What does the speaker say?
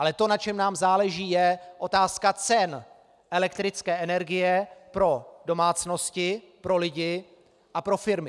Ale to, na čem nám záleží, je otázka cen elektrické energie pro domácnosti, pro lidi a pro firmy.